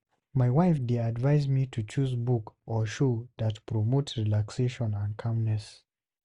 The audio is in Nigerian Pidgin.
My wife dey advise me to choose book or show that promote relaxation and calmness.